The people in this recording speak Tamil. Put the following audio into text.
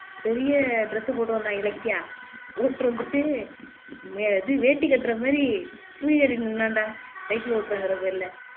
பெரிய dress போட்டு வந்தான் இலக்கியா போட்டுருந்துட்டு வே இது வேட்டி கட்டுர மாதிரி தூக்கிட்டு நின்னான்டா cycle ஓட்டுறேங்கிற பேருல